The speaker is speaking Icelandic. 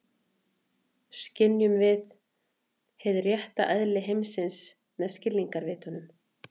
Skynjum við hið rétta eðli heimsins með skilningarvitunum?